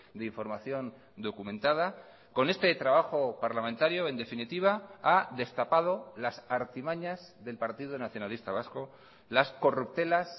de información documentada con este trabajo parlamentario en definitiva ha destapado las artimañas del partido nacionalista vasco las corruptelas